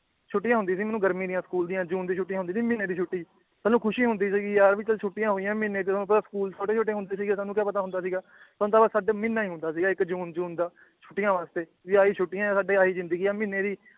ਛੁਟੀਆਂ ਹੁੰਦੀ ਸੀ ਮੈਨੂੰ ਗਰਮੀਆਂ ਦੀਆਂ ਸਕੂਲ ਦੀਆਂ ਜੂਨ ਦੀ ਛੁੱਟੀ ਹੁੰਦੀ ਸੀ ਮਹੀਨੇ ਦੀ ਛੁੱਟੀ ਸਾਨੂੰ ਖੁਸ਼ੀ ਹੁੰਦੀ ਸੀ ਕਿ ਯਾਰ ਵੀ ਚੱਲ ਛੁੱਟੀਆਂ ਹੋਈਆਂ ਮਹੀਨੇ ਜਦੋਂ ਆਪਾਂ ਸਕੂਲ ਛੋਟੇ ਛੋਟੇ ਹੁੰਦੇ ਸੀਗੇ ਸਾਨੂੰ ਕਯਾ ਪਤਾ ਹੁੰਦਾ ਸੀਗਾ ਇਕ ਮਹੀਨਾ ਈ ਹੁੰਦਾ ਸੀਗਾ ਇਕ ਜੂਨ ਜੂਨ ਦਾ ਛੁੱਟੀਆਂ ਵਾਸਤੇ ਵੀ ਆਹੀ ਛੁਟੀਆਂ ਏ ਸਾਡੇ ਆਹੀ ਜਿੰਦਗੀ ਏ ਮਹੀਨੇ ਦੀ